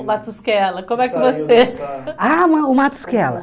O Matusquela, como é que você... Ah, ma o Matusquela.